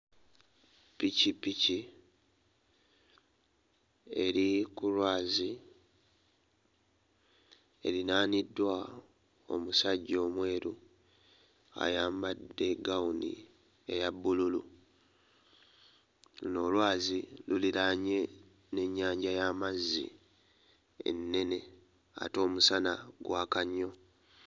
Ppikippiki eri ku lwazi erinaaniddwa omusajja omweru ayambadde ggawuni eya bbululu luno olwazi luliraanye n'ennyanja y'amazzi ennene ate omusana gwaka nnyo.